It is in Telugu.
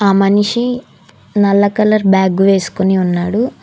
ఆ మనిషి నల్ల కలర్ బ్యాగ్ వేసుకుని ఉన్నాడు.